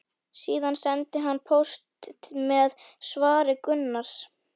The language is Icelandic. Síðan sendi hann póst með svari Gunnars.